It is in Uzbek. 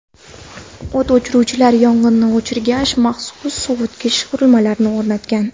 O‘t o‘chiruvchilar yong‘inni o‘chirgach, maxsus sovutish qurilmalarini o‘rnatgan.